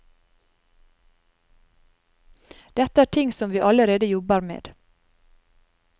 Dette er ting som vi allerede jobber med.